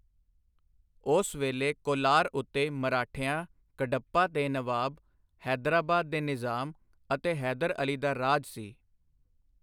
ਉਸ ਵੇਲੇ ਕੋਲਾਰ ਉੱਤੇ ਮਰਾਠਿਆਂ, ਕੱਡਪਾ ਦੇ ਨਵਾਬ, ਹੈਦਰਾਬਾਦ ਦੇ ਨਿਜ਼ਾਮ ਅਤੇ ਹੈਦਰ ਅਲੀ ਦਾ ਰਾਜ ਸੀ।